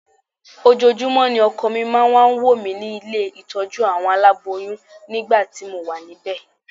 Ojoojúmọ́ ni ọkọ mi máa ń wá wò mí nílé ìtọ́jú àwọn aláboyún nígbà tí mo wà níbẹ̀